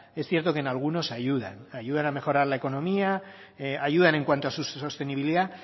es cierto que en algunos ayudan ayudan a mejorar la economía ayudan en cuanto a su sostenibilidad